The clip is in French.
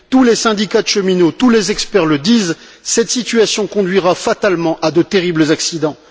Tous les syndicats de cheminots, tous les experts le disent, cette situation conduira fatalement à de terribles accidents.